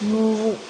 Mun